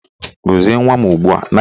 Gọzie nwa m ugbua!